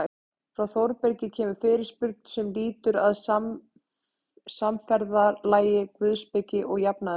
Frá Þórbergi kemur fyrirspurn sem lýtur að samferðalagi guðspeki og jafnaðarmennsku.